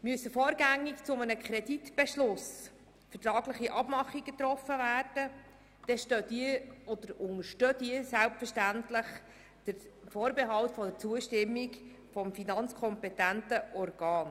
Müssen vorrangig zu einem Kreditbeschluss vertragliche Abmachungen getroffen werden, unterstehen diese selbstverständlich dem Vorbehalt der Zustimmung des finanzkompetenten Organs.